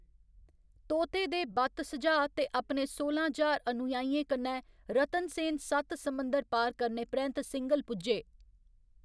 तोते दे बत्त सुझाऽ ते अपने सोलां ज्हार अनुयायियें कन्नै रतनसेन सत्त समुंदर पार करने परैंत्त सिंघल पुज्जे।